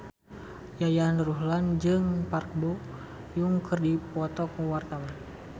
Yayan Ruhlan jeung Park Bo Yung keur dipoto ku wartawan